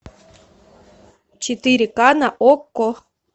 четыре ка на окко